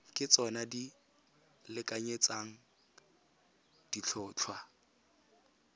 ke tsona di lekanyetsang ditlhotlhwa